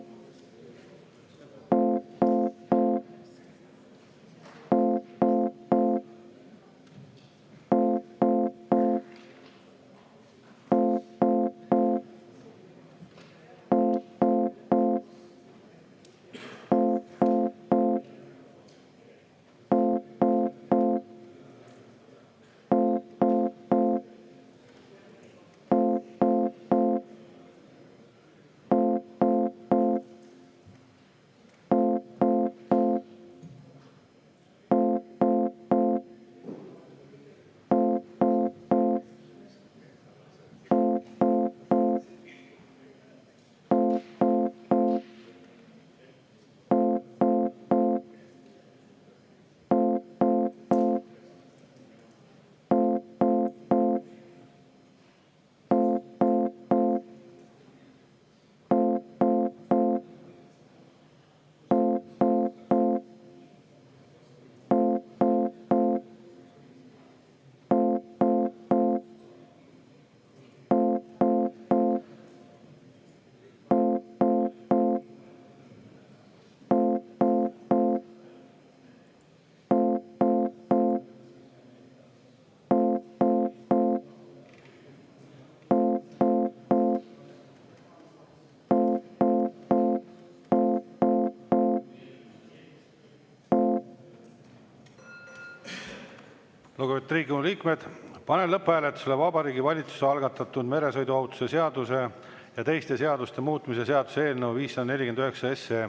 Lugupeetud Riigikogu liikmed, panen lõpphääletusele Vabariigi Valitsuse algatatud meresõiduohutuse seaduse ja teiste seaduste muutmise seaduse eelnõu 549.